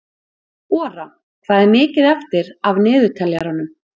Ora, hvað er mikið eftir af niðurteljaranum?